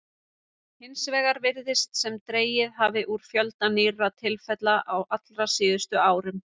Hins vegar virðist sem dregið hafi úr fjölda nýrra tilfella á allra síðustu árum.